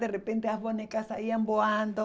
De repente, as bonecas saíam voando.